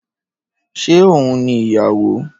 Ṣé oun ni ìyàwó?